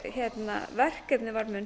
hennar verkefni var mun